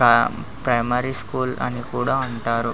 హా primary school అని కూడా అంటారు.